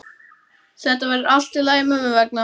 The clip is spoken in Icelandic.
Þetta verður allt í lagi mömmu vegna.